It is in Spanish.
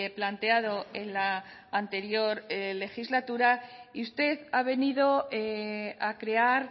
planteado en la anterior legislatura y usted ha venido a crear